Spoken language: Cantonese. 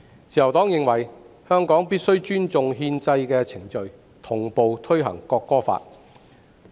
"自由黨認為，香港必須尊重憲制的程序，同步推行《國歌法》。